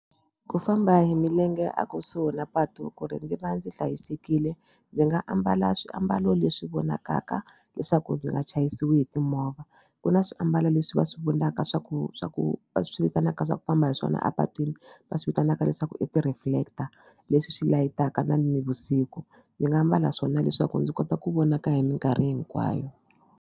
Ku famba hi milenge a kusuhi na patu ku ri ndzi va ndzi hlayisekile ndzi nga ambala swiambalo leswi vonakaka leswaku ndzi nga chayisiwi hi timovha ku na swiambalo leswi va swi vonaka swa ku ku swa ku va swi vitanaka swa ku famba hi swona a patwini va swi vitanaka leswaku i ti-reflector leswi swi layitaka na nivusiku ndzi nga mbala swona leswaku ndzi kota ku vonaka hi minkarhi hinkwayo.